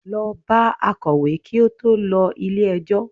Lọ bá akọ̀wé kí ó tó lọ ilé ẹjọ́!